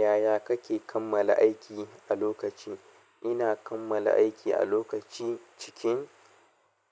Yaya kake kammala aiki a lokaci? Ina kammala aiki a lokacin cikin